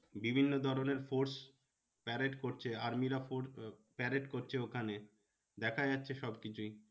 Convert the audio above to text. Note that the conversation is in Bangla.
বিভিন্ন ধরণের force parade করছে army রা parade করছে ওখানে দেখা যাচ্ছে সব কিছুই।